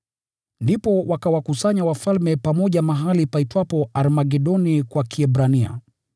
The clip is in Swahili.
Ndipo wakawakusanya wafalme pamoja mahali paitwapo Armagedoni kwa Kiebrania.